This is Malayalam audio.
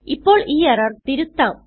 ഇപ്പോൾ ഈ എറർ തിരുത്താം